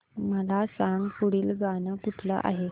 मला सांग पुढील गाणं कुठलं आहे